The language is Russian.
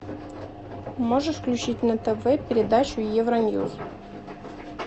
можешь включить на тв передачу евро ньюс